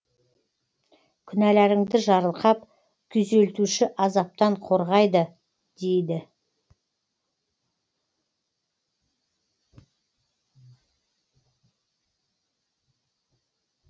күнәларыңды жарылқап күйзелтуші азаптан қорғайды дейді